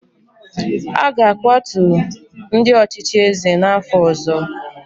A ga-akwatu ndị ọchịchị eze n’afọ ọzọ